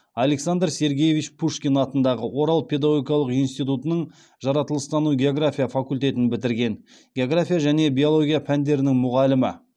александр сергеевич пушкин атындағы орал педагогикалық институтының жаратылыстану география факультетін бітірген география және биология пәндерінің мұғалімі